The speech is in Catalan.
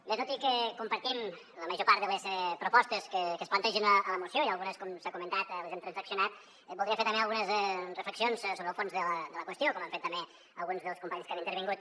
bé tot i que compartim la major part de les propostes que es plantegen a la moció i algunes com s’ha comentat les hem transaccionat voldria fer també algunes reflexions sobre el fons de la qüestió com han fet també alguns dels companys que han intervingut